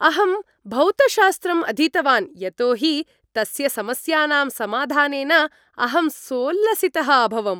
अहं भौतशास्त्रम् अधीतवान् यतो हि तस्य समस्यानां समाधानेन अहं सोल्लसितः अभवम्।